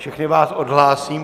Všechny vás odhlásím.